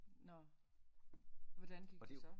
Nåh hvordan gik det så